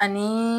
Ani